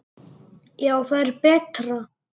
Já, það er betra.